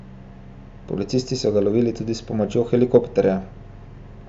Policisti so ga lovili tudi s pomočjo helikopterja.